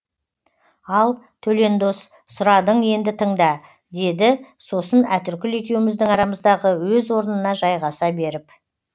ал төлен дос сұрадың енді тыңда деді сосын әтіркүл екеуміздің арамыздағы өз орнына жайғаса беріп